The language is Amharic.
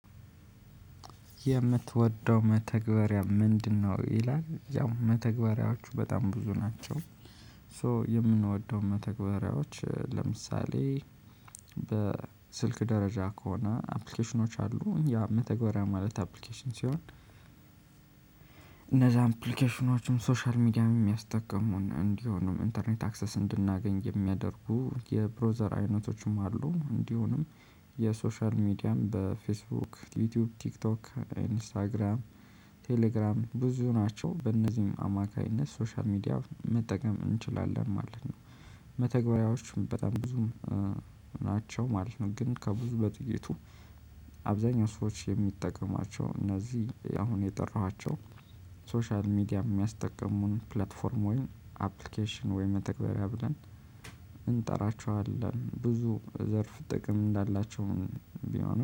የምትወደው መተግበሪያ ምንድነው? ይላል ያው መተግበሪያዎቹ በጣም ብዙ ናቸው። ሶ የምንወደው መተግበሪያዎች ለምሳሌ በስልክ ደረጃ ከሆነ አፕሊኬሽኖች አሉ ያ መተግበሪያ ማለት አፕሊኬሽን ሲሆን። እነዛን አፕሊኬሽኖችን ሶሻል ሚዲያም የሚያስጠቅሙን እንዲሆኑም ኢንተርኔት አክሰስ እንድናገኝ የሚያደርጉ የብሮዘር አይነቶችም አሉ እንዲሆኑም የሶሻል ሚዲያም በፌስቡክ ዩቲዩብ ቲክቶክ ኢንስታግራም ቴሌግራም ብዙ ናቸው በእነዚህም አማካኝነት ሶሻል ሚዲያ መጠቀም እንችላለን ማለት ነው። መተግበሪያዎቹም በጣም ብዙም ናቸው ማለት ነው። ግን ከብዙ በጥቂቱ አብዛኛው ሰዎች የሚጠቀሟቸው እነዚህ አሁን የጠራኋቸው ሶሻል ሚዲያ የሚያስጠቀሙን ፕላትፎርም ወይም አፕሊኬሽን ወይም መተግበሪያ ብለን እንጠራቸዋለን ብዙ ዘርፍ ጥቅም እንዳላቸውም ቢሆንም